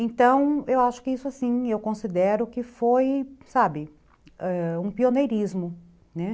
Então, eu acho que isso, assim, eu considero que foi, sabe, um pioneirismo, né?